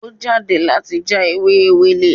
Ó jáde láti já ewé Ewèlè